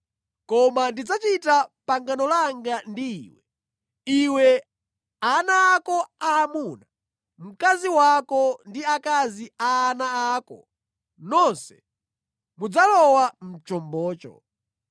Koma ndidzachita pangano langa ndi iwe. Iwe, ana ako aamuna, mkazi wako ndi akazi a ana ako nonse mudzalowa mʼchombocho.